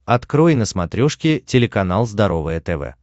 открой на смотрешке телеканал здоровое тв